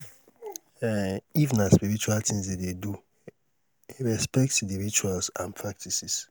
um if na spiritual things dem de do respect di rituals and practices